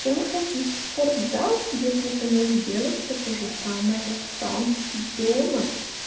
чем ходить в спортзал если ты можешь делать всё то же самое сам и дома